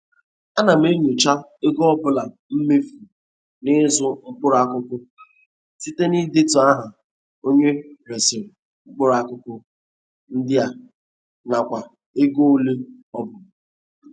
Ana m enyocha ego ọbụla e mefuru n'ịzụ mkpụrụ akụkụ site n'idetu aha onye resịrị mkpụrụ akụkụ ndị a nakwa ego oịe ọ bụ.